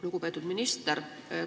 Lugupeetud minister!